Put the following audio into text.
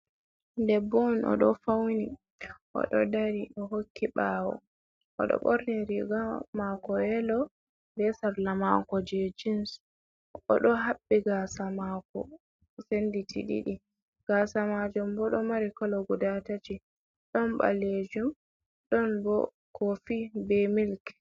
Debbo oɗo fauni oɗo dari hokki ɓawo oɗo ɓorni riga mako yelo besal lamanko je jens o do habbi gasa mako senditi ɗiɗi. Gasa majum bodo mari kolo guda ɗiɗi, ɗon boɗejum ɗon bo kofi be milk.